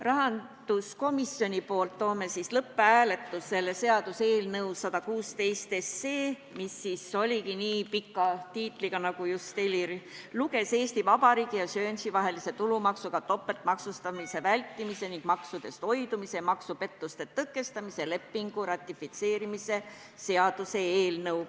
Rahanduskomisjoni nimel toon lõpphääletusele seaduseelnõu 116, mis oligi nii pika pealkirjaga, nagu Helir just ette luges: Eesti Vabariigi ja Guernsey vahelise tulumaksudega topeltmaksustamise vältimise ning maksudest hoidumise ja maksupettuste tõkestamise lepingu ratifitseerimise seaduse eelnõu.